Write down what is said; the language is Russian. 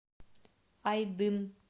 айдын